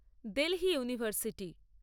Delhi university